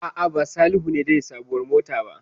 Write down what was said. A'a, ba Salihu ne zai yi sabuwar mota ba.